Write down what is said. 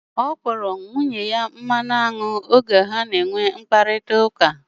Ọ kpọrọ nwunye ya mmanụ anwụ m oge ha na enwe mkparịta ụka